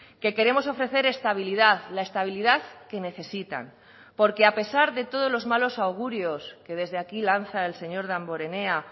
que queremos ofrecer estabilidad la estabilidad que necesitan porque a pesar de todos los malos augurios que desde aquí lanza el señor damborenea